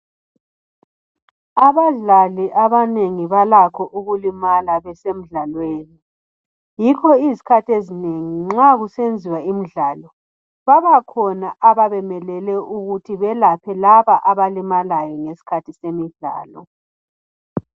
abadlali abanengi balakho ukulimala besemdlalweni yikho izikhathi ezinengi nxa kusenziwa imdlalo babakhona ababemelele ukuthi belaphe laba abalimalayo ngesikhathi semidlalo